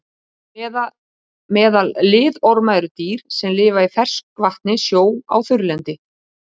Meðal liðorma eru dýr sem lifa í ferskvatni, sjó og á þurrlendi.